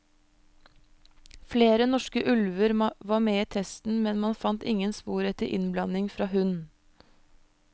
Flere norske ulver var med i testen, men man fant man ingen spor etter innblanding fra hund.